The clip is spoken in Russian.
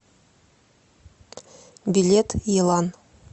билет елан